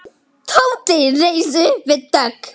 Tóti reis upp við dogg.